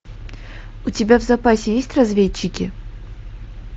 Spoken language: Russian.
у тебя в запасе есть разведчики